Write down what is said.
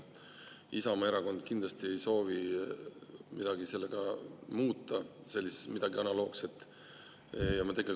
Isamaa Erakond kindlasti ei soovi midagi analoogset muuta.